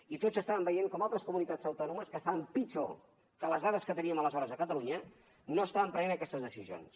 i tots estàvem veient com altres comunitats autònomes que estaven pitjor que les dades que teníem aleshores a catalunya no estaven prenent aquestes decisions